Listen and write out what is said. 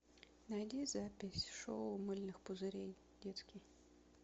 найди запись шоу мыльных пузырей детский